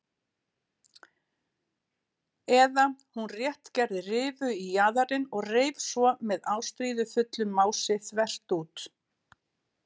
Eða hún rétt gerði rifu í jaðarinn og reif svo með ástríðufullu mási þvert út.